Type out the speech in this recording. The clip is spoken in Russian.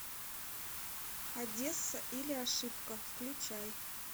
одесса или ошибка включай